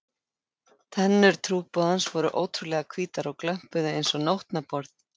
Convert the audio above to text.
Tennur trúboðans voru ótrúlega hvítar og glömpuðu einsog nótnaborð.